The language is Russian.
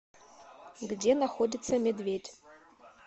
где находится медведь